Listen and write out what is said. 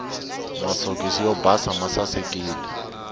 masokisi yo basa masasekile